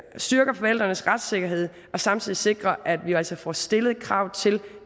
styrker forældrenes retssikkerhed og samtidig sikrer at vi altså får stillet krav til